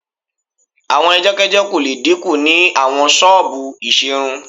Àwọn ẹjọ́kẹ́jọ́ kò le dínkù ni àwọn ṣọ́ọ̀bù ìṣerun